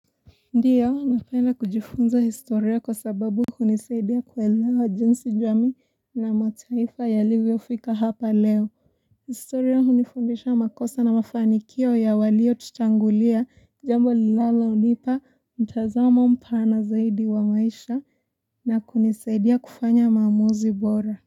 Ndio napenda kujifunza historia kwa sababu hunisaidia kuelewa jinsi jamii na mataifa yalivyo fika hapa leo historia hunifundisha makosa na mafanikio ya walio tutangulia jambo linalonipa mtazamo mpana zaidi wa maisha na kunisaidia kufanya maamuzi bora.